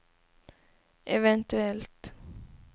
eventuellt